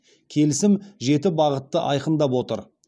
келісім жеті бағытты айқындап отыр